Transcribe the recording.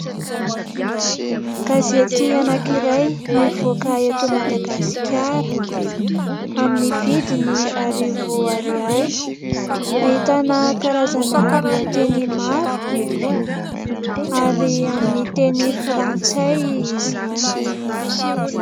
Gazety anankiray mivoaka eto Madagasikara, amin'ny vidiny arivo ariary. Ahitana karazana lohateny maro ary amin'ny teny frantsay izany.